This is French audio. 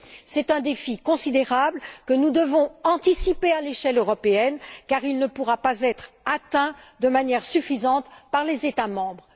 C'est là un défi considérable que nous devons anticiper à l'échelle européenne car il ne pourra pas être atteint de manière suffisante par les États membres.